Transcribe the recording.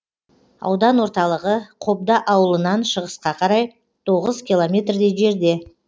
аудан орталығы қобда ауылынан шығысқа қарай тоғыз километрдей жерде